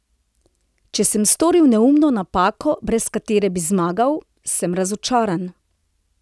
Če sem storil neumno napako, brez katere bi zmagal, sem razočaran.